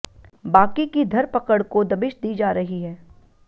बाकी की धरपकड़ को दबिश दी जा रही है